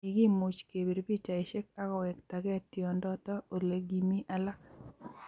Kikumuch kepir pikchaishek akowektakei tindoto olekimi alak